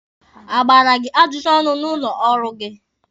A gbara gị ajụjụ ọnụ n'ụlọ ọrụ gị?